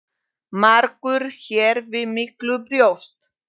Margur hér við miklu bjóst.